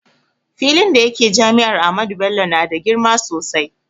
Filin da yake jami'ar Ahmadu Bello na da girma sosai